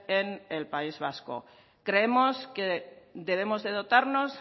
en el país vasco creemos que debemos de dotarnos